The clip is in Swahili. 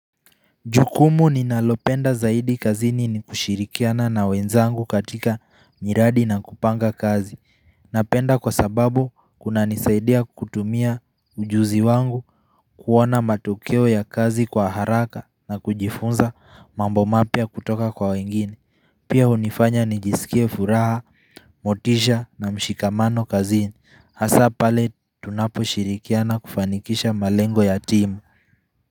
Jukumu ninalopenda zaidi kazini ni kushirikiana na wenzangu katika miradi na kupanga kazi Napenda kwa sababu kunanisaidia kutumia ujuzi wangu kuwana matokeo ya kazi kwa haraka na kujifunza mambo mapia kutoka kwa wengine Pia hunifanya nijisikie furaha motisha na mshikamano kazini Hasa pale tunaposhirikiana kufanikisha malengo ya timu.